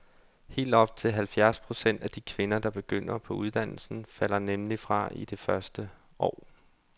Helt op til halvfjerds procent af de kvinder, der begynder på uddannelsen, falder nemlig fra i løbet af det første år.